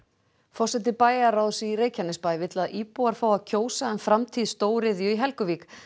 forseti bæjarráðs í Reykjanesbæ vill að íbúar fái að kjósa um framtíð stóriðju í Helguvík